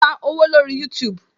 O lè pa owó lórí youtube